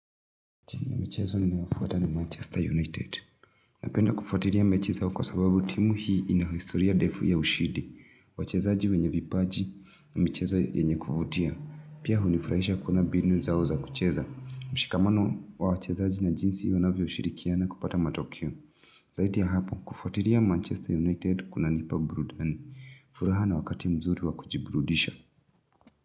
Timu ya michezo ninayofuata ni Manchester United. Napenda kufuatilia mechi zao kwa sababu, timu hii ina historia ndefu ya ushindi. Wacheza ji wenye vipaji na michezo yenye kuvutia. Pia hunifurahisha kuona mbinu zao za kucheza. Mshikamano wa wachezaji na jinsi wanavyo shirikiana kupata matokeo. Zaidi ya hapo, kufuatilia Manchester United kunanipa burudani. Furaha na wakati mzuri wa kujiburudisha.